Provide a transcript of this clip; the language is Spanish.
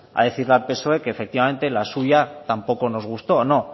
a decirle al psoe que efectivamente la suya tampoco nos gustó no